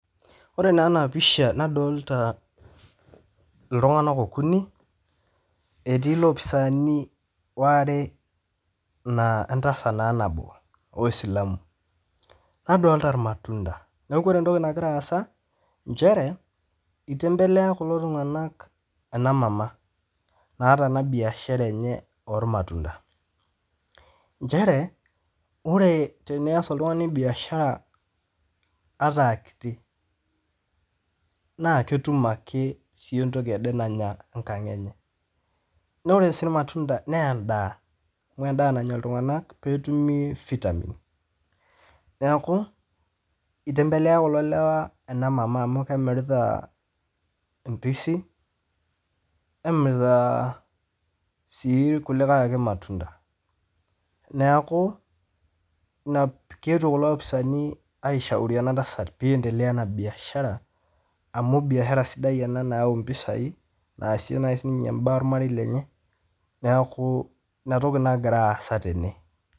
Ore naa ena pisha nadolita ltunganak okuni etii lopisaani oare naaa entasat naa nabo oisilamu, nadolita lmatunda, naaku ore entoki nagira aasa inchere eitembelea kulo tunganak en emama naata ena mbiashara enye ormatunda, inchere oree teniyas oltungani imbiashara ata aa kiti naa ketum ake entoki ade naya enkang enye, naa ore sii ilmatunda aa endaa nanya ltunganak netumii vitamins neaku eitembelea kulo lewa ana emama amuu kemirita intisi nemiritaa sii lkulikae ake lmatunda keetio kulo lopisaani aisharu ena tasat peendelea oo ena biashara amu biashara ena sidia nayau impisai naasie sii ninye imbaa ormarei lenye, neaku inatoki nagira aasa tene.